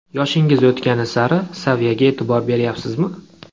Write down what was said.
Yoshingiz o‘tgani sari saviyaga e’tibor beryapsizmi?